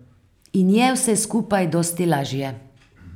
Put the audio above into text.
In je vse skupaj dosti lažje.